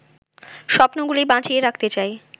স্বপ্নগুলি বাঁচিয়ে রাখতে চাই